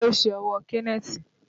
Kí ló ṣe ọwọ́ Kenneth?